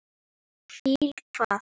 Hvíla hvað?